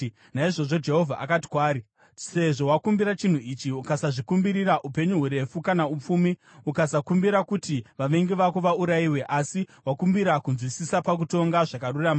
Naizvozvo Jehovha akati kwaari, “Sezvo wakumbira chinhu ichi ukasazvikumbirira upenyu hurefu kana upfumi, ukasakumbira kuti vavengi vako vaurayiwe, asi wakumbira kunzwisisa pakutonga zvakarurama,